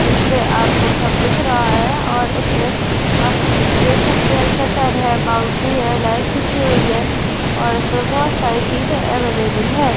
इसमें आपको सब दिख रहा हैं और इसमें आप देख सकते हैं शटर है बाउंड्री है लाइन खींची हुई हैं और फिर बहुत सारी चीजें अवेलेबल है।